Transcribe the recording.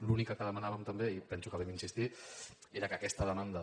l’única que demanàvem també i penso que hi hem insistit era que aquesta demanda